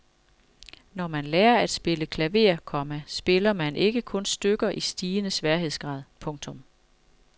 Når man lærer at spille klaver, komma spiller man ikke kun stykker i stigende sværhedsgrad. punktum